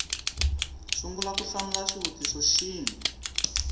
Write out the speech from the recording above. sungula ku hlamula xivutiso xin